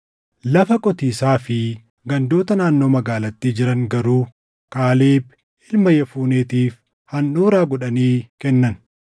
Lafa qotiisaa fi gandoota naannoo magaalattii jiran garuu Kaaleb ilma Yefuneetiif handhuuraa godhanii kennan.